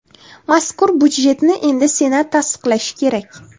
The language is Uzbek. Mazkur budjetni endi Senat tasdiqlashi kerak.